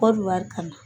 Ba don wari kama